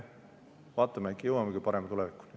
Vaatame, äkki jõuamegi parema tulevikuni.